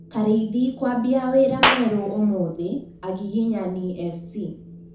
Karĩithi kwambia wĩra mwerũ ũmũthĩ, agiginyani FC